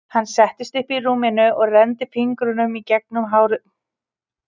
Pabbi upp í dívan og blöðin eins og æla út frá höfðalaginu.